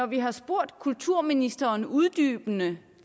vi har spurgt kulturministeren uddybende